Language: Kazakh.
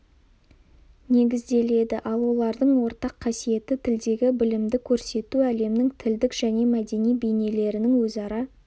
негізделеді ал олардың ортақ қасиеті тілдегі білімді көрсету әлемнің тілдік және мәдени бейнелерінің өзара